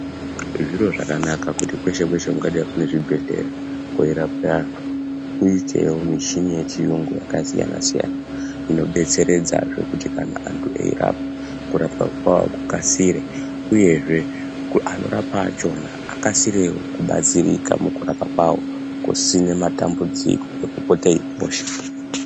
Zviro zvakanaka kuti kweshe Kweshe kungadai kune zvibhedhleya kweirapwe antu kuitewo muchini yechiyungu yakasiyana siyana inobetseredzazve kuti kana antu erapwe. Kurapwa kwawo kukasire uyezve anorapa achona akasirewo kubatsirika mukurapa kwawo kusina matambudziko ekopota eiposha.